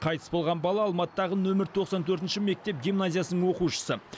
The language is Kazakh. қайтыс болған бала алматыдағы нөмір тоқсан төртінші мектеп гимназиясының оқушысы